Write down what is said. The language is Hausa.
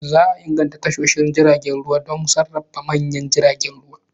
Za a inganta tashoshin jiragen ruwa don sarrafa manyan jiragen ruwa.